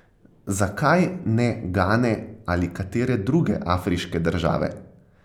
Zakaj ne Gane ali katere druge afriške države?